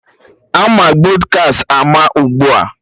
Ama Pọdkast ama ugbua